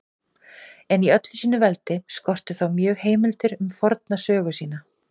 En í öllu sínu veldi skorti þá mjög heimildir um forna sögu sína.